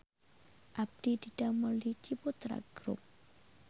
Abdi didamel di Ciputra Grup